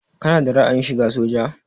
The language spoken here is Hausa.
Kana da ra'ayin shiga soja?